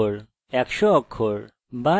অথবা 1 অক্ষর দীর্ঘ